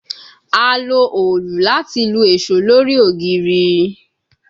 A lo òòlù lati lu eso lori ogiri